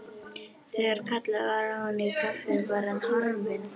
Þegar kallað var á hann í kaffi var hann horfinn.